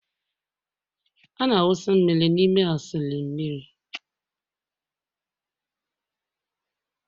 a na-awụsa mmiri n'ime A sịlịn mmiri..